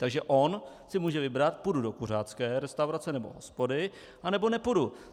Takže on si může vybrat: půjdu do kuřácké restaurace nebo hospody, anebo nepůjdu.